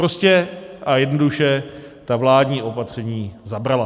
Prostě a jednoduše, ta vládní opatření zabrala.